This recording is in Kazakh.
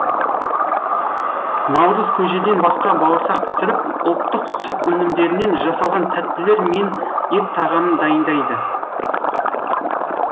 наурыз көжеден басқа бауырсақ пісіріп ұлттық сүт өнімдерінен жасалған тәттілер мен ет тағамын дайындайды